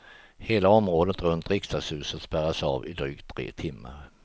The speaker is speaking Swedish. Hela området runt riksdagshuset spärras av i drygt tre timmar.